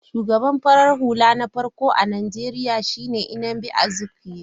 Shugaban farar hula na farko a Najeriya shi ne Nnamdi Azikwe.